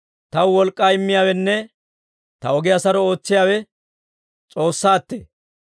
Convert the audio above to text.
Taw wolk'k'aa immiyaawenne ta ogiyaa saro ootsiyaawe S'oossaattee.